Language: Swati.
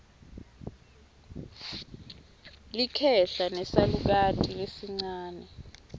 likhehla nesalukati lesincane